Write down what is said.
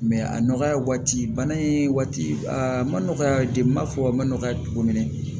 a nɔgɔya waati bana in waati a ma nɔgɔ ya n b'a fɔ a ma nɔgɔya cogo min na